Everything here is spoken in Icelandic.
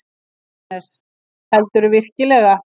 JÓHANNES: Heldurðu virkilega.